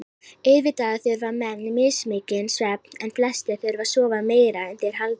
Auðvitað þurfa menn mismikinn svefn en flestir þurfa að sofa meira en þeir halda.